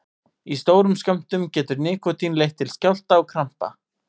Í stórum skömmtum getur nikótín leitt til skjálfta og krampa.